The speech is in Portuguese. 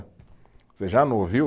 Você já não ouviu?